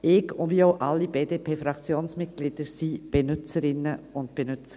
Ich und alle BDPFraktionsmitglieder sind Mobilfunk-Benutzerinnen und -Benutzer.